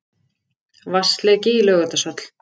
Vatnsleki í Laugardalshöll